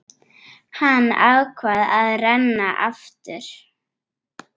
Hann ákvað að reyna aftur.